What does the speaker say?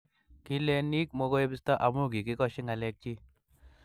kileniik mekoebisto amu kogikoshi ngalekchi